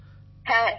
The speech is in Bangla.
বিশাখাজীঃ হ্যাঁ